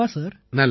கண்டிப்பா சார்